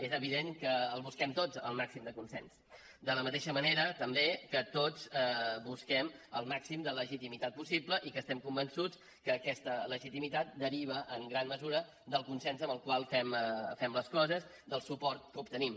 és evident que el busquem tots el màxim de consens de la mateixa manera també que tots busquem el màxim de legitimitat possible i que estem convençuts que aquesta legitimitat deriva en gran mesura del consens amb el qual fem les coses del suport que obtenim